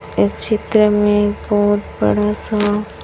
इस चित्र में बहोत बड़ा सा--